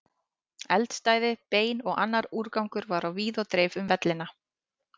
Eldstæði, bein og annar úrgangur var á víð og dreif um vellina.